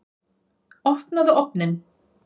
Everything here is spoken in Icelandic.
Opnaðu ofninn!